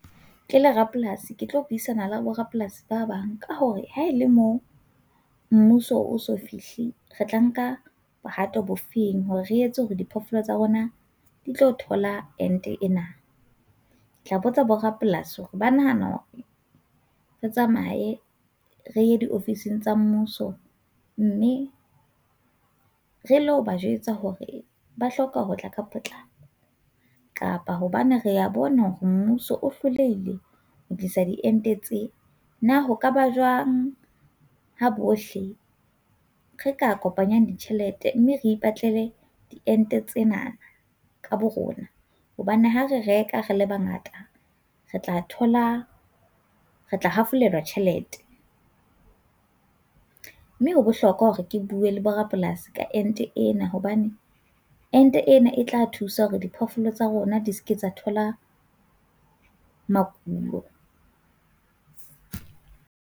Ke le rapolasi ke tlo buisana le borapolasi ba bang ka hore ha e le mo mmuso o so fihle, re tla nka bohato bo feng hore re etse hore diphoofolo tsa rona di tlo thola ente ena. Ke tla botsa borapolasi hore ba nahana re tsamaye re di ofising tsa mmuso mme re lo ba jwetsa hore ba hloka ho tla ka potlako kapa hobane re a bona hore mmuso o hlolehile ho tlisa diente tse, na ho kaba jwang ha bohle re ka kopanyang ditjhelete mme re ipatlele diente tsena ka bo rona. Hobane ha re reka re le bangata re tla thola re tla hafolelwa tjhelete. Mme ho bohlokwa hore ke bue le bo rapolasi ka ente ena hobane ente ena e tla thusa hore diphoofolo tsa rona di se ke tla thola makulo.